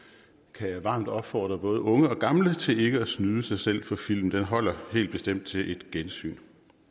kan jeg varmt opfordre både unge og gamle til ikke at snyde sig selv for filmen den holder helt bestemt til et gensyn